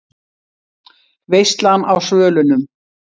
VEISLAN Á SVÖLUNUM